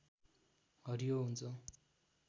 हरियो हुन्छ